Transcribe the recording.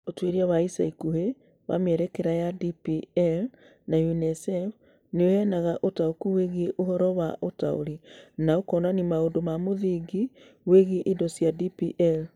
Ũtuĩria wa ica ikuhĩ wa mĩerekera ya DPL nĩ UNICEF nĩ ũheanaga ũtaũku wĩgiĩ ũhoro wa ũtaũri, na ũkonania maũndũ ma mũthingi megiĩ indo cia DPL.